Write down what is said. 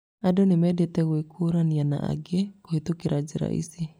Andũ nĩ mendete gwĩkũrania na angĩ kũhĩtũkĩra njĩra ici.